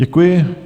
Děkuji.